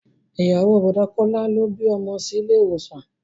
Ìyàwó o Bọ̀dá Kọ́lá ló bí ọmọ sí ilé ìwòsàn